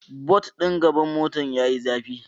Bot din gaban motar yayi zafi